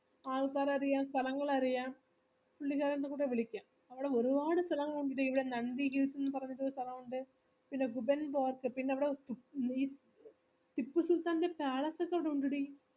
ആൾക്കാരെ അറിയാം സ്ഥലങ്ങള് അറിയാം പുള്ളിക്കാരനെകൂടെ വിളിക്കാം അവിടെ ഒരുപാട് സ്ഥലങ്ങള് ഉണ്ടെടി ഇവിടെ Nandi hills ന്ന് പറഞ്ഞിട്ടൊരു സ്ഥലമുണ്ട് പിന്നെ അവിട ടിപ്പുസുൽത്താന്റെ palace ഒക്കെ ഉണ്ടെടി